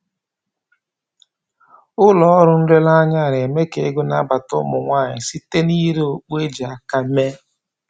Ụlọ ọrụ nlereanya a na-eme k'ego na-abata ụmụ nwanyị site na-ire okpu e ji aka mee